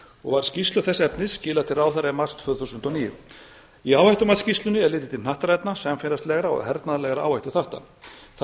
og var skýrslu þess efnis skilað til ráðherra í mars tvö þúsund og níu í áhættumatsskýrslunni er litið til hnattrænna samfélagslegra og hernaðarlegra áhættuþátta þar er